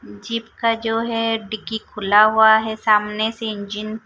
jeep का जो है डिक्की खुला हुआ है सामने से इंजन --